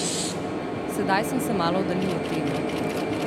Sedaj sem se malo oddaljil od teme.